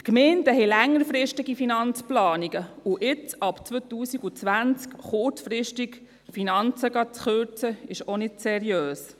Die Gemeinden haben längerfristige Finanzplanungen, und jetzt ab 2020 kurzfristig die Finanzen zu kürzen, ist auch nicht seriös.